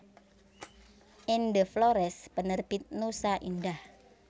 Ende Flores Penerbit Nusa Indah